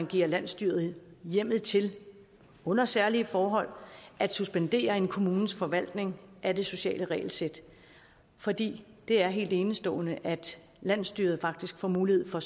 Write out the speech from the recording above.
giver landsstyret hjemmel til under særlige forhold at suspendere en kommunes forvaltning af det sociale regelsæt for det er helt enestående at landsstyret nu faktisk får mulighed for